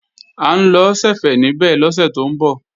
À ń lọ ṣẹ̀fẹ̀ níbẹ̀ lọ́sẹ̀ tó ń bọ̀